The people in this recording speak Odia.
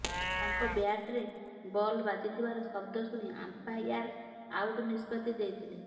ତାଙ୍କ ବ୍ୟାଟ୍ରେ ବଲ୍ ବାଜିଥିବାର ଶବ୍ଦ ଶୁଣି ଅମ୍ପାୟାର ଆଉଟ୍ ନିଷ୍ପତ୍ତି ଦେଇଥିଲେ